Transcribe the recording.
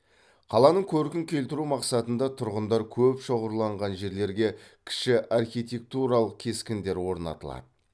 қаланың көркін келтіру мақсатында тұрғындар көп шоғырланған жерлерге кіші архитектуралық кескіндер орнатылады